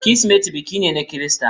Kirsimeti biki ne na Kirista.